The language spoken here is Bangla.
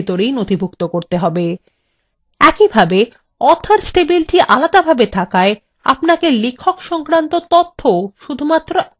একইভাবে authors টেবিলটি আলাদাভাবে থাকায় আপনাকে লেখক সংক্রান্ত তথ্যও শুধু একবারই নথিভুক্ত করতে হবে